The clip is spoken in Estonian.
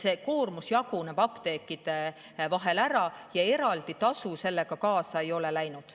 See koormus jaguneb apteekide vahel ära ja eraldi tasu sellega kaasa ei ole läinud.